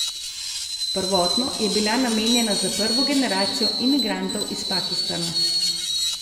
Prvotno je bila namenjena za prvo generacijo imigrantov iz Pakistana.